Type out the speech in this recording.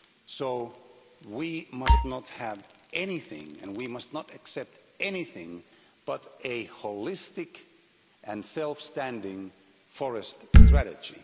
So we must not have anything, and we must not accept anything, but a holistic and self-standing forest strategy.